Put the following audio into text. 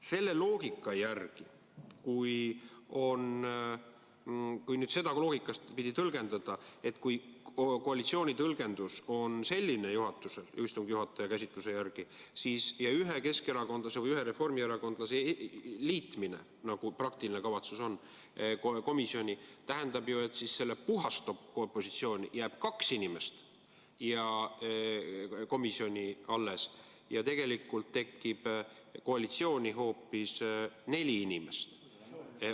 Selle loogika järgi, kui koalitsiooni tõlgendus on selline, istungi juhataja käsitluse järgi, ühe keskerakondlase või ühe reformierakondlase komisjoni liitmine, nagu praktiline kavatsus on, tähendab see ju seda, et opositsiooni jääb kaks inimest komisjoni alles ja tegelikult tekib koalitsiooni hoopis neli inimest.